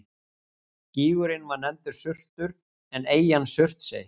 Gígurinn var nefndur Surtur en eyjan Surtsey.